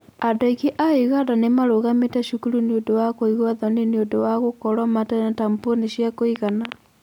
Andũ aingĩ a Uganda nĩ marũgamĩte cukuru nĩ ũndũ wa kũigua thoni nĩ ũndũ wa gũkorũo matarĩ na tamponi cia kũigana.